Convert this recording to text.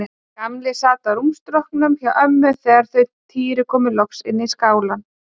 Gamli sat á rúmstokknum hjá ömmu þegar þau Týri komu loks inn í skálann.